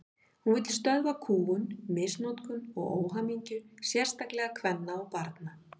Hún vill stöðva kúgun, misnotkun og óhamingju, sérstaklega kvenna og barna.